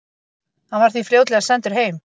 Hann var því fljótlega sendur heim.